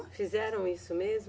Fizeram isso mesmo?